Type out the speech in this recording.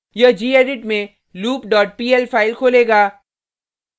यह gedit में loop dot pl file खोलेगा